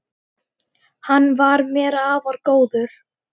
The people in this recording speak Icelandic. Hann var mér afar góður.